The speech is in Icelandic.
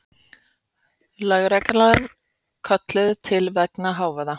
Lögreglan kölluð til vegna hávaða